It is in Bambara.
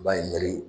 Ba ye n ka